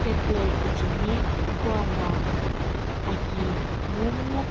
step lo ikucheni kuana aki momu--